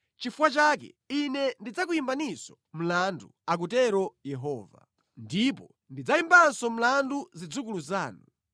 “Chifukwa chake Ine ndidzakuyimbaninso mlandu,” akutero Yehova. “Ndipo ndidzayimbanso mlandu zidzukulu zanu.